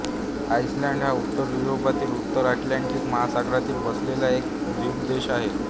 Iceland हा उत्तर युरोपातील उत्तर अटलांटिक महासागरात वसलेला एक द्वीपदेश आहे